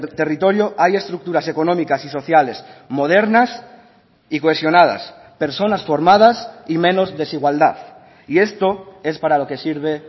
territorio hay estructuras económicas y sociales modernas y cohesionadas personas formadas y menos desigualdad y esto es para lo que sirve